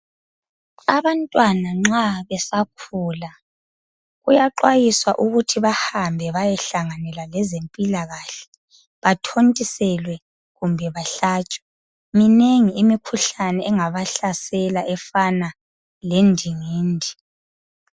abantwana nxa besakhula kuyaxwayiswa ukuthi bahambe bayehlanganela lezempikahle bathontiselwe kumbe bahlatshwe minengi imkhuhlane engabahlasela efana lendingindi